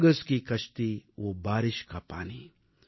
वो कागज की कश्ती वो बारिश का पानी